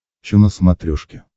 че на смотрешке